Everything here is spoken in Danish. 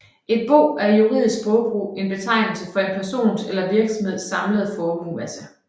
Et bo er i juridisk sprogbrug en betegnelse for en persons eller virksomheds samlede formuemasse